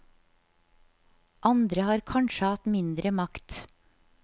Andre har kanskje hatt mindre makt.